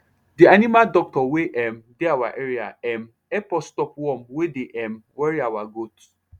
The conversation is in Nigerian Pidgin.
the animal doctor wey um dey our area um help us stop worm wey dey um worry our goat